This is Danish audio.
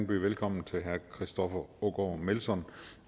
byde velkommen til herre christoffer aagaard melson